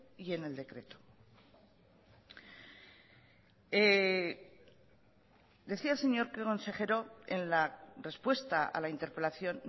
y en el decreto decía el señor consejero en la respuesta a la interpelación